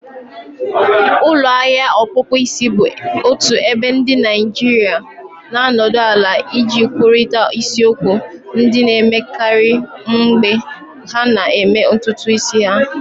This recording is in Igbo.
ulo ahia ọkpụkpụ isi bụ otu ebe ndị Naịjirịa na-anọdụ ala iji kwurịta isiokwu ndị na-emekarị mgbe ha na-eme ntutu isi ha